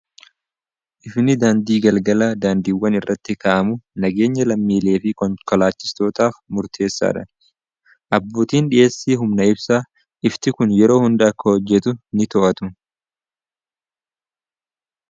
ifni daandii galgala daandiiwwan irratti ka'amu nageenya lammiilee fi konkolaachisootaaf murteessaa dha abbuutiin dhiheessii humna'ibsaa ifti kun yeroo hunda akka hojjetu ni to'atu